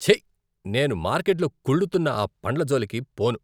ఛీ! నేను మార్కెట్లో కుళ్ళుతున్న ఆ పండ్ల జోలికి పోను.